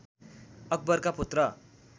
अकबरका पुत्र